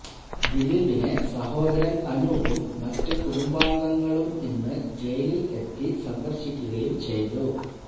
ദിലീപിനെ സഹോദരൻ അനൂപും മറ്റ് കുടുംബാംഗങ്ങളും ഇന്ന് ജയിൽ എത്തി സന്ദർശിക്കുകയും ചെയ്തു